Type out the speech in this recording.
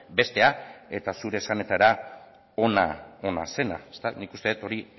bestea eta zure esanetara ona zena nik uste dut hori